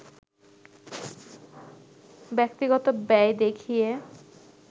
ব্যক্তিগত ব্যয় দেখিয়ে